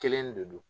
Kelen de don